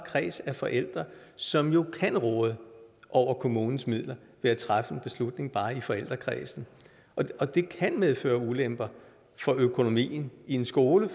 kreds af forældre som jo kan råde over kommunens midler ved at træffe en beslutning bare i forældrekredsen og det kan medføre ulemper for økonomien i en skole